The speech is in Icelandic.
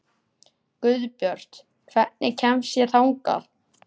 Guðbjört, hvernig kemst ég þangað?